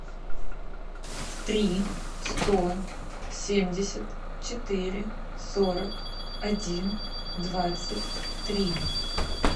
три сто семьдесят четыре сорок один двадцать три